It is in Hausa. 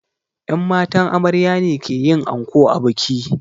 Yan matan amarya ne ke yin anko a biki